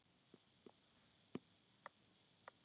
Hrópaði Lena á hjálp?